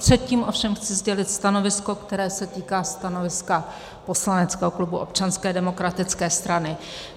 Předtím ovšem chci sdělit stanovisko, které se týká stanoviska poslaneckého klubu Občanské demokratické strany.